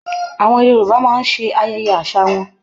Àwọn Yorùbá máa ń ṣe ayẹyẹ àṣà wọn